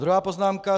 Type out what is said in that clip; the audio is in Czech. Druhá poznámka.